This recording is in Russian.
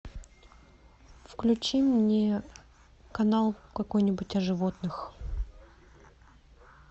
включи мне канал какой нибудь о животных